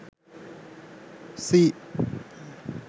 sea